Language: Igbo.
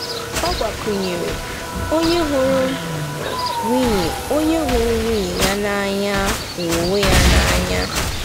Ọ gbakwụnyere: “ Onye hụrụ nwunye Onye hụrụ nwunye ya n'anya hụrụ onwe ya n'anya.